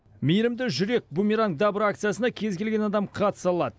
мейірімді жүрек бумеранг добра акциясына кез келген адам қатыса алады